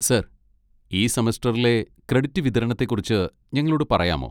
Sir, ഈ സെമസ്റ്ററിലെ credit വിതരണത്തെക്കുറിച്ച് ഞങ്ങളോട് പറയാമോ?